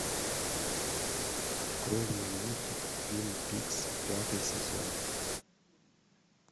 открой мне мультик твин пикс пятый сезон